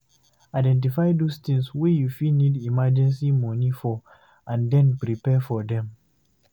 Identify those things wey you fit need emergency money for and then prepare for them